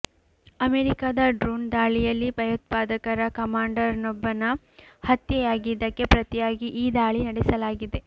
ಅಮೆರಿಕದ ಡ್ರೋಣ್ ದಾಳಿಯಲ್ಲಿ ಭಯೋತ್ಪಾದಕರ ಕಮಾಂಡರ್ನೊಬ್ಬನ ಹತ್ಯೆಯಾಗಿದ್ದಕ್ಕೆ ಪ್ರತಿಯಾಗಿ ಈ ದಾಳಿ ನಡೆಸಲಾಗಿದೆ